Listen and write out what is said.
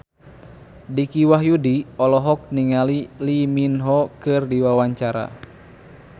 Dicky Wahyudi olohok ningali Lee Min Ho keur diwawancara